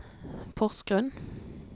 Porsgrunn